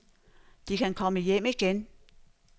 De kan komme hjem igen.